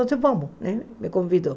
Então vamos né, me convidou.